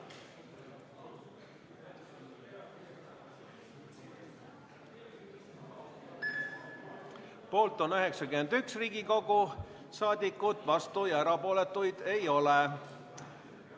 Hääletustulemused Poolt on 91 Riigikogu liiget, vastuolijaid ja erapooletuid ei ole.